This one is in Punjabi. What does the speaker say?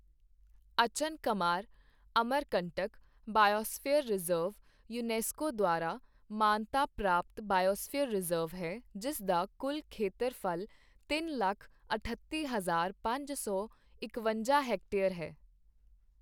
Achanakmar Amarkantak biosphere reserve UNESCO ਦੁਆਰਾ ਮਾਨਤਾ ਪ੍ਰਾਪਤ ਬਾਇਓਸਫੀਅਰ ਰਿਜ਼ਰਵ ਹੈ, ਜਿਸ ਦਾ ਕੁੱਲ ਖੇਤਰਫ਼ਲ ਤਿੰਨ ਲੱਖ ਅਠੱਤੀ ਹਜ਼ਾਰ ਪੰਜ ਸੌ ਇਕਵੰਜਾ ਹੈਕਟੇਅਰ ਹੈ।